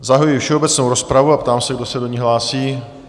Zahajuji všeobecnou rozpravu a ptám se, kdo se do ní hlásí?